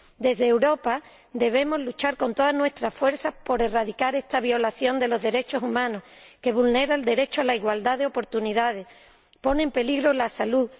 Desde Europa debemos luchar con todas nuestras fuerzas por erradicar esta violación de los derechos humanos, que vulnera el derecho a la igualdad de oportunidades y pone en peligro la salud.